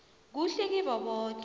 kuhle kibo boke